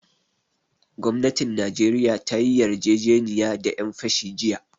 Gwamnatin najeriya ta yi yarjejeniya da ƴan fashi jiya